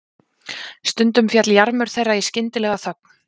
Stundum féll jarmur þeirra í skyndilega þögn.